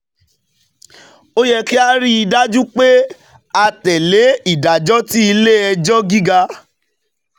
Ó yẹ kí a rí i dájú pé a tẹ̀ lé ìdájọ́ tí Ilé Ẹjọ́ Gíga